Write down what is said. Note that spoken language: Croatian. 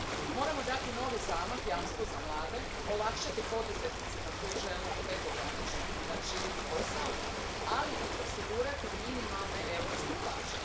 Moramo dati novi zamah jamstvu za mlade, olakšati poduzetnicima koji žele pregogranično širiti posao, ali i osigurati minimalne europske plaće.